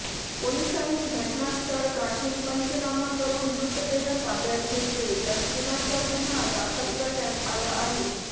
पोलिसांनी घटनास्थळ गाठून पंचनामा करून मृतदेह ताब्यात घेतले तर खुनाचा गुन्हा दाखल करण्यात आला आहे